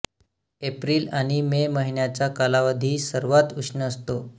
April आणि May महिन्याचा कालावधी सर्वात उष्ण असतो